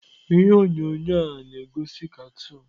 Ihe onyonyo a na-egosi katoon.